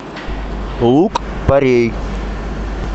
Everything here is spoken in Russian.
лук порей